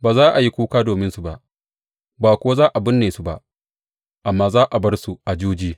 Ba za a yi kuka dominsu ba, ba kuwa za a binne su ba, amma za a bar su a juji.